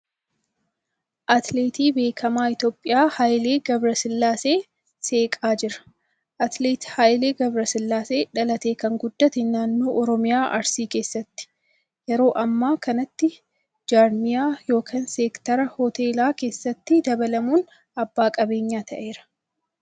Atileetii beekamaan Itiyoophiyaa Hayilee Gabrasillaasee seeqaa jira. Atileet Hayilee Gabrasillaasee dhalatee kan guddate naannoo Oromiyaa Arsii keessatti . Yeroo ammaa kanatti jaarmiyaa yookan seektara hoteelaa keessatti dabalamuun abbaa qabeenyaa ta'eera.